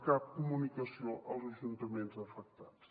cap comunicació als ajuntaments afectats